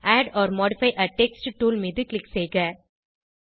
add or modify a text tool மீது click செய்க